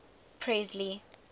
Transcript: presley